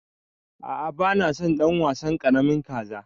A'a bana son ɗan wasan ƙaramin kaza.